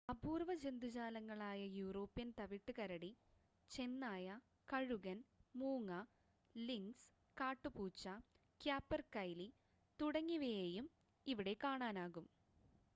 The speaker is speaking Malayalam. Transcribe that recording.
അപൂർവ ജന്തുജാലങ്ങളായ യൂറോപ്യൻ തവിട്ട് കരടി ചെന്നായ കഴുകൻ മൂങ്ങ ലിൻക്സ് കാട്ടുപൂച്ച ക്യാപെർകൈലി തുടങ്ങിയവയെയും ഇവിടെ കാണാനാകും